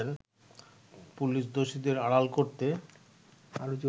police দোষীদের আড়াল করতে